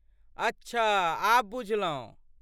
अच्छाऽऽऽ, आब बुझलहुँ।